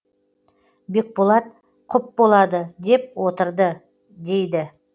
бекболат құп болады деп отырды дейді